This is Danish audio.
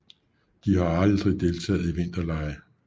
De har aldrig deltaget i vinterlege